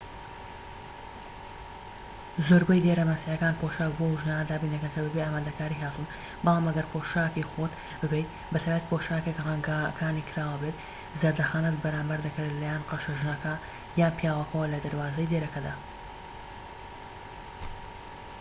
زۆربەی دێرە مەسیحیەکان پۆشاک بۆ ئەو ژنانە دابین دەکەن کە بەبێ ئامادەکاری هاتوون بەڵام ئەگەر پۆشاکی خۆت ببەیت بەتایبەتی پۆشاکێك رەنگەکانی کراوە بێت زەردەخەنەت بەرامبەر دەکرێت لەلایەن قەشە ژنەکە یان پیاوەکەوە لە دەروازەی دێرەکەدا